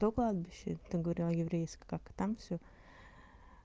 то кладбище ты говорила еврейское как там всё